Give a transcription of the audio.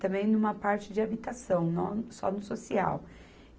também numa parte de habitação, nó, só no social.